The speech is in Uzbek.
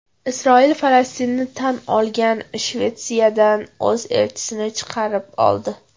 Isroil Falastinni tan olgan Shvetsiyadan o‘z elchisini chaqirib oldi.